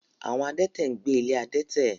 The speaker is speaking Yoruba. Àwọn adẹ́tẹ̀ ń gbé ilé adẹ́tẹ̀.